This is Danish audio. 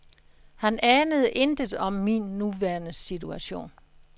Han anede intet om min nuværende situation.